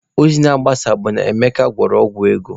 Ozi na-agbasa bụ na Emeka gwọrọ ọgwụ ego